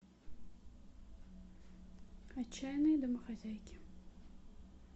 отчаянные домохозяйки